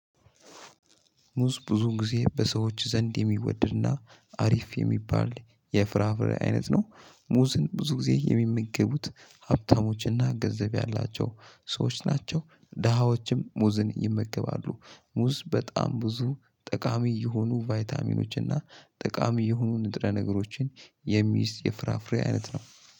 ሙዝ ብዙ ጊዜ በሰዎች ዘንድ የሚወደድና አሪፍ የሚባል የፍራፍሬ አይነት ነው። ሙዝን ብዙ ጊዜ የሚመገቡት ሀብታሞችና ገንዘብ ያላቸው ሰዎች ናቸው ደሃዎችም ሙዝን ይመገባሉ ሙዝ በጣም ብዙ ጠቃሚ የሆኑ ቫይታሚኖች እና ጠቃሚ የሆኑ ንጥረ ነገሮችን የሚይዝ የፍራፍሬ አይነት ነው።